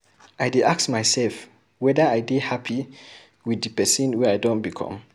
I dey ask myself weda I dey hapi wit di pesin wey I don become.